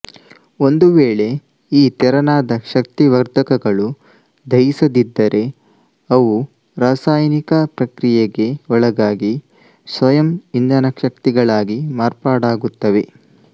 ಒಂದುವೇಳೆ ಈ ತೆರನಾದ ಶಕ್ತಿವರ್ಧಕಗಳು ದಹಿಸದಿದ್ದರೆ ಅವು ರಸಾಯನಿಕ ಪ್ರಕ್ರಿಯೆಗೆ ಒಳಗಾಗಿ ಸ್ವಯಂಇಂಧನಶಕ್ತಿಗಳಾಗಿ ಮಾರ್ಪಾಡಾಗುತ್ತವೆ